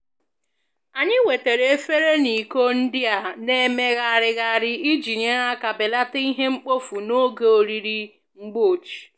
Anyị wetara efere na iko ndị a na-emegharịgharị iji nyere aka belata ihe mkpofu n'oge oriri mgbochi